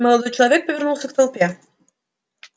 молодой человек повернулся к толпе